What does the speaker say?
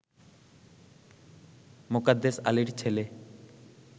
মোকাদ্দেস আলীর ছেলে